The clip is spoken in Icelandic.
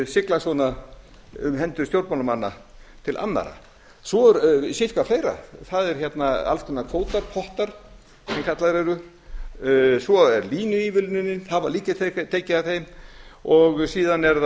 sigla svona um hendur stjórnmálamanna til annarra svo er sitthvað fleira það eru alls konar kvótar pottar sem kallaðir eru svo er línuívilnunin það var líka tekið af þeim og síðan eru